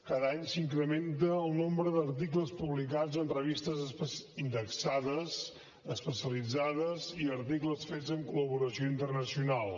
cada any s’incrementa el nombre d’articles publicats en revistes indexades especialitzades i articles fets amb col·laboració internacional